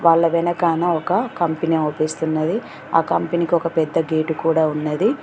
వాళ్ళ వెనకాన ఒక కంపెనీ అవ్పిస్తున్నది ఆ కంపెనీ కి ఒక పెద్ద గేటు కూడా ఉన్నది.